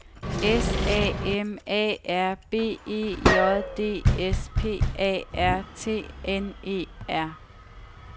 S A M A R B E J D S P A R T N E R